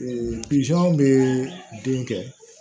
bɛ den kɛ